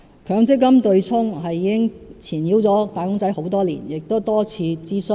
強積金"對沖"已經纏繞"打工仔"多年，亦曾多次進行諮詢。